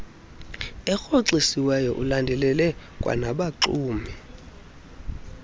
erhoxisiweyo ulandelele kwanabaxumi